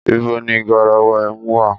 Ìbó ní gàràwá ẹmú wà?